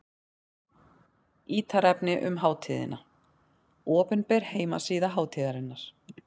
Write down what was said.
Ítarefni um hátíðina: Opinber heimasíða hátíðarinnar.